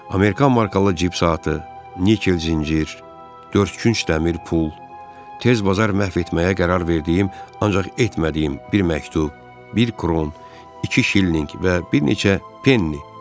Amerikan markalı cib saatı, nikel zəncir, dörd günc dəmir pul, tez bazar məhv etməyə qərar verdiyim, ancaq etmədiyim bir məktub, bir kron, iki şillinq və bir neçə penni.